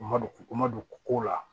U ma don ko ma don ko la